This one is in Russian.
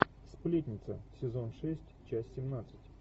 сплетница сезон шесть часть семнадцать